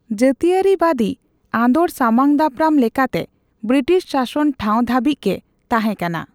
ᱡᱟᱹᱛᱤᱭᱟᱹᱨᱤᱵᱟᱹᱫᱤ ᱟᱸᱫᱳᱲ ᱥᱟᱢᱟᱝᱫᱟᱯᱨᱟᱢ ᱞᱮᱠᱟᱛᱮ ᱵᱨᱤᱴᱤᱥ ᱥᱟᱥᱚᱱ ᱴᱷᱟᱣ ᱫᱷᱟᱹᱵᱤᱡ ᱜᱮ ᱛᱟᱦᱮᱸ ᱠᱟᱱᱟ ᱾